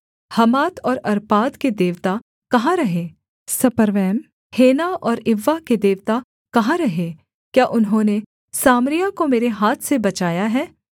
हमात और अर्पाद के देवता कहाँ रहे सपर्वैम हेना और इव्वा के देवता कहाँ रहे क्या उन्होंने सामरिया को मेरे हाथ से बचाया है